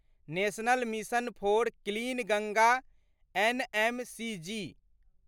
national mission for clean Ganga NMCG